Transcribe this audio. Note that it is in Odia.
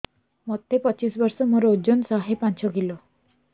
ମୋତେ ପଚିଶି ବର୍ଷ ମୋର ଓଜନ ଶହେ ପାଞ୍ଚ କିଲୋ